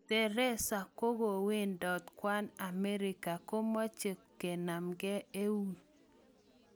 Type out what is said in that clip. Theresa kokowendat kwang amerika, komache kenamng'e eut